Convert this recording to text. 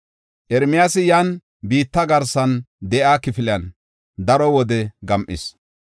Ermiyaasi yan biitta garsan de7iya kifiliyan daro wode gam7is.